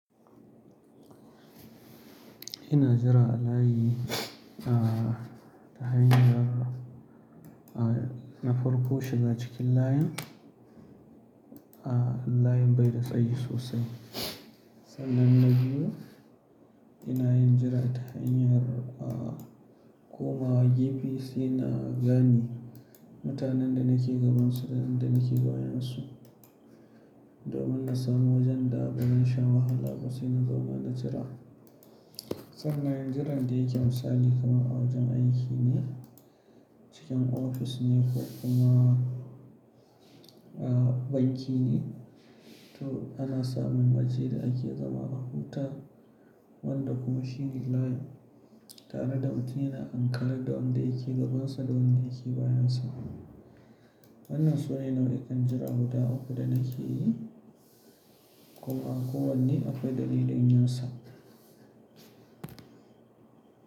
Ina jira a layi, ah, ta hanyar, ah, na farko shiga cikin layin, ah, layin bai da tsayi sosai. Sannan na biyu, ina yin jira ta hanyar, ah, koma GPC na gane mutanen da nake gabansu da na ke bayansu. Domin na samu wajen da ban sha wahala ba sai na zauna na jira. Sannan yin jiran da yake misali kamar awajan aiki ne, cikin ofis ne ko kuma, ah, banki ne. To ana samun waje da ake zama bakuta, wanda kuma shine layin tare da mutune na ankare da wanda yake gabansa da wanda yake bayansa. Wannan su ne nau'ikan jira guda 3 da na ke yi, kuma kowane akwai dalilin yinsa.